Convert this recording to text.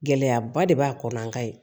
Gɛlɛyaba de b'a kɔnɔ an ka ye